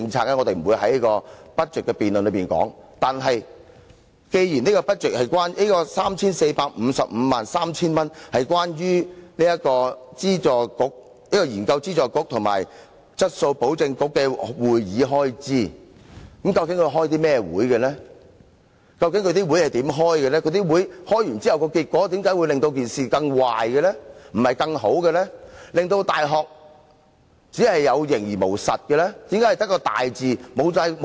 然而，既然 34,553,000 元是關於教資會、研究資助局及質素保證局的會議開支，究竟是甚麼會議？為何召開會議之後的結果會令到事情變得更壞而不是更好，令到大學有形而無實的呢？